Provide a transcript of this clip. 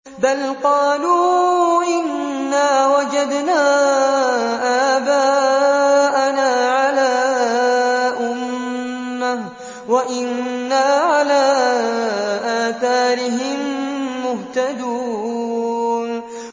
بَلْ قَالُوا إِنَّا وَجَدْنَا آبَاءَنَا عَلَىٰ أُمَّةٍ وَإِنَّا عَلَىٰ آثَارِهِم مُّهْتَدُونَ